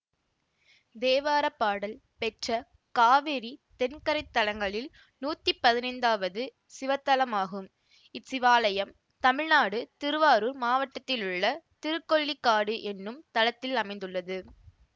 தேவாரப்பாடல் பெற்ற காவிரி தென்கரை தலங்களில் நூத்தி பதினைந்தாவது சிவத்தலமாகும் இச்சிவாலயம் தமிழ்நாடு திருவாரூர் மாவட்டத்திலுள்ள திருக்கொள்ளிக்காடு என்னும் தளத்தில் அமைந்துள்ளது